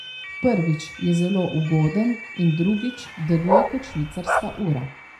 Prvič, je zelo ugoden in drugič, deluje kot švicarska ura.